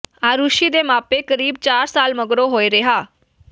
ਆਰੁਸ਼ੀ ਦੇ ਮਾਪੇ ਕਰੀਬ ਚਾਰ ਸਾਲਾਂ ਮਗਰੋਂ ਹੋਏ ਰਿਹਾਅ